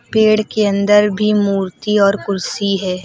पेड़ के अंदर भी मूर्ति और कुर्सी है।